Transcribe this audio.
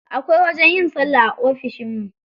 Akwai wajen yin sallah a ofishin mu.